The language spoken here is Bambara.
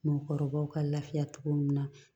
Mɔgɔkɔrɔbaw ka lafiya cogo min na